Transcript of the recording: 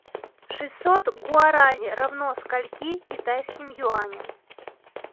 шестьсот гуарани равно скольки китайским юаням